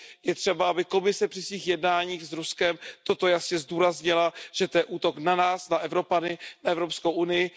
Je třeba, aby Komise při svých jednáních s Ruskem toto jasně zdůraznila, že to je útok na nás, na Evropany, na Evropskou unii.